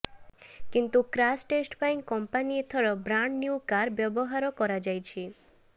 କିନ୍ତୁ crash test ପାଇଁ company ଏଥର ବ୍ରାଣ୍ଡ ନ୍ୟୁ କାର୍ ବ୍ୟବହାର କାଯାଇଛି